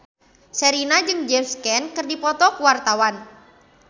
Sherina jeung James Caan keur dipoto ku wartawan